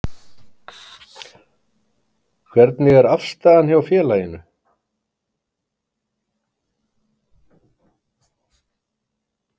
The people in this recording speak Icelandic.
Hvernig er aðstaðan hjá félaginu?